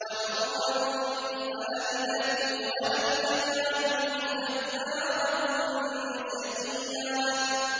وَبَرًّا بِوَالِدَتِي وَلَمْ يَجْعَلْنِي جَبَّارًا شَقِيًّا